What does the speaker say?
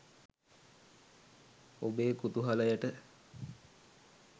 ඔබේ කුතුහලයට